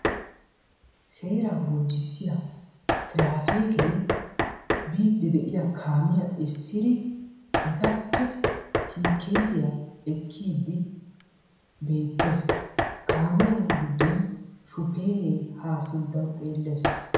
Seeraa bonchchissiya tiraafiikee biiddi de'iya kaamiya essidi etappe tiikkeetiya ekkiiddi beettees. Kaamiyan giddon shufeeree haa sinttawu xeellees.